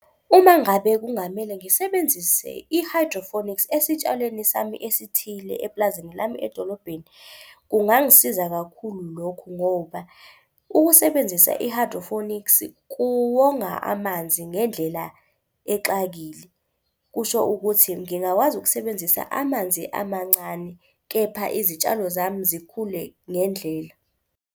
Uma ngabe kungamele ngisebenzise i-hydroponics esitshalweni sami esithile eplazini lami edolobheni, kungangisiza kakhulu lokho ngoba ukusebenzisa i-hydroponics kuwonga amanzi ngendlela exakile. Kusho ukuthi ngingakwazi ukusebenzisa amanzi amancane kepha izitshalo zami zikhule ngendlela.